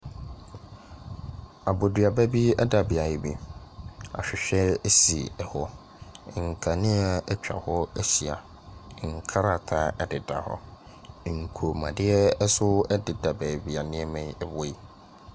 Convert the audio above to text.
Aboduaba bi da beaeɛ bi, ahwehwɛ si hɔ, nkanea atwa hɔ ahyia, nkrataa deda hɔ, nkɔnmuadeɛ nso deda beebi a nneɛma yi wɔ yi.